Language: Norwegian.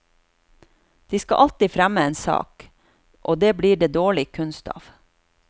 De skal alltid fremme en sak, og det blir det dårlig kunst av.